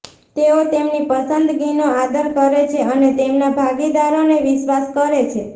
તેઓ તેમની પસંદગીનો આદર કરે છે અને તેમના ભાગીદારને વિશ્વાસ કરે છે